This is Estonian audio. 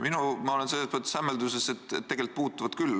Ma olen selles mõttes hämmelduses, et tegelikult puutuvad küll.